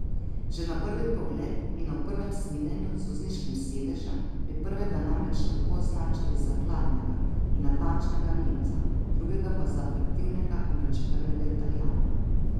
Že na prvi pogled in ob prvem snidenju z vozniškim sedežem bi prvega namreč lahko označili za hladnega in natančnega nemca, drugega pa za atraktivnega in vročekrvnega italijana.